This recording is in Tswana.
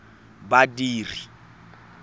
badiri